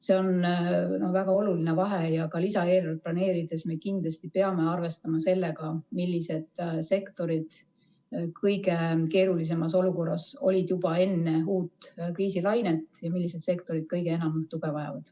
See on väga oluline vahe ja ka lisaeelarvet planeerides me kindlasti peame arvestama sellega, millised sektorid olid kõige keerulisemas olukorras juba enne uut kriisilainet ja millised kõige enam tuge vajavad.